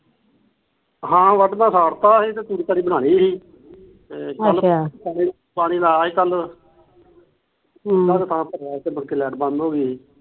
ਹਾ ਵੱਡ ਤਾ ਸਾੜਤਾ ਤੂੜੀ ਤਾੜੀ ਬਣਾਲੀ ਅੱਛਿਆ ਪਾਣੀ ਲਾ ਆਇਆ ਕੱਲ ਮੁੜ ਕੇ ਲੈਟ ਬੰਦ ਹੋਗੀ